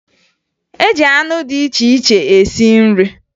E ji anụ dị iche iche esi nri